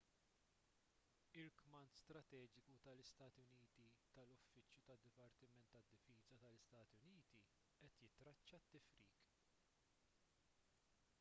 il-kmand strateġiku tal-istati uniti tal-uffiċċju tad-dipartiment tad-difiża tal-istati uniti qed jittraċċa t-tifrik